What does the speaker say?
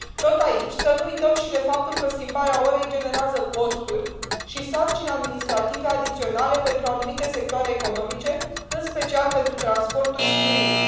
Tot aici, să nu uităm și de faptul că schimbarea orei generează costuri și sarcini administrative adiționale pentru anumite sectoare economice, în special pentru transporturi și turism.